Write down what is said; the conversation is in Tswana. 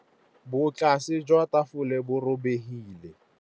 Botlasê jwa tafole bo robegile.